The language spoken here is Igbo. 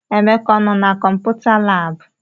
Emeka anọ na kọmputa laabụ?